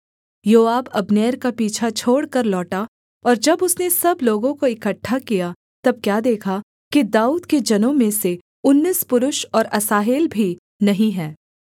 योआब Abner का पीछा छोड़कर लौटा और जब उसने सब लोगों को इकट्ठा किया तब क्या देखा कि दाऊद के जनों में से उन्नीस पुरुष और असाहेल भी नहीं हैं